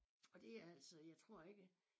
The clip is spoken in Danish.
Og det altså jeg tror ikke